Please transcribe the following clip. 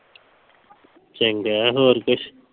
ਚੰਗਾ ਹੋਰ ਕੁਝ।